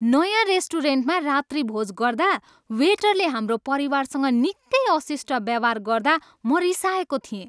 नयाँ रेस्टुरेन्टमा रात्रिभोज गर्दा वेटरले हाम्रो परिवारसँग निकै अशिष्ट व्यवहार गर्दा म रिसाएको थिएँ।